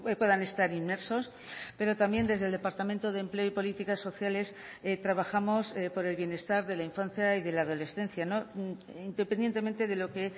puedan estar inmersos pero también desde el departamento de empleo y políticas sociales trabajamos por el bienestar de la infancia y de la adolescencia independientemente de lo que